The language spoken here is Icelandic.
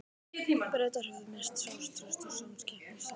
Bretar höfðu misst sjálfstraust og samkeppnishæfni.